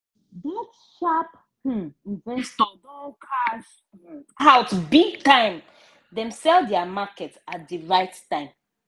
dat sharp um investor don cash um out big time! dem sell dia market at di right time.